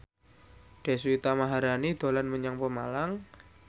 Deswita Maharani dolan menyang Pemalang